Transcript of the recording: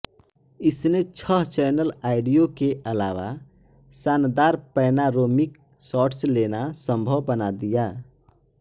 इसने छह channel audio के अलावा शानदार पैनारोमिक शॉट्स लेना संभव बना दिया